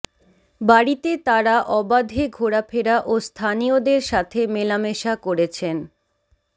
বাড়িতে তারা অবাধে ঘোরাফেরা ও স্থানীয়দের সাথে মেলামেশা করেছেন